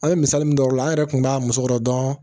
An bɛ misali min o la an yɛrɛ tun b'a muso kɔrɔ dɔrɔn